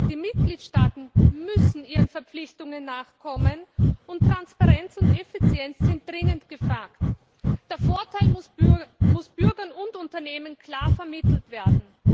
Die Mitgliedstaaten müssen ihren Verpflichtungen nachkommen, und Transparenz und Effizienz sind dringend gefragt. Der Vorteil muss Bürgern und Unternehmen klar vermittelt werden.